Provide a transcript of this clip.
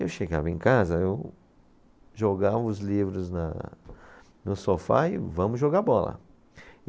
Eu chegava em casa, eu jogava os livros na, no sofá e vamos jogar bola.